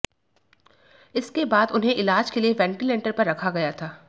इसके बाद उन्हें इलाज के लिए वेंटिलेटर पर रखा गया था